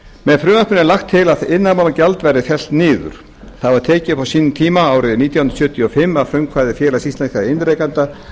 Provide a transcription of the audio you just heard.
með frumvarpinu er lagt til að iðnaðarmálagjald verði fellt niður það var tekið upp á sínum tíma árið nítján hundruð sjötíu og fimm að frumkvæði félags íslenskra iðnrekenda